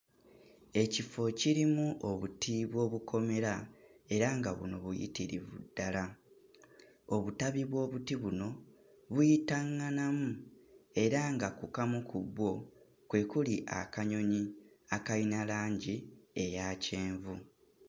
Ekifo kirimu obuti bw'obukomera era nga buno buyitirivu ddala, obutabi bw'obuti buno buyitaŋŋanamu era nga ku kamu ku bwo kwe kuli akanyonyi akayina langi eya kyenvu.